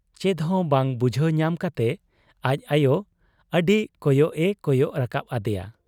ᱪᱮᱫᱦᱚᱸ ᱵᱟᱝ ᱵᱩᱡᱷᱟᱹᱣ ᱧᱟᱢ ᱠᱟᱴᱮ ᱟᱡ ᱟᱭᱚ ᱟᱹᱰᱤ ᱠᱚᱭᱚᱜ ᱮ ᱠᱚᱭᱚᱜ ᱨᱟᱠᱟᱵ ᱟᱫᱮᱭᱟ ᱾